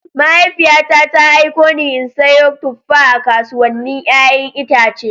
Mahaifiyata ta aiko ni in sayo tuffa a kasuwannin 'ya'yan itace.